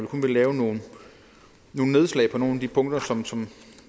kun lave nogle nedslag på nogle af de punkter som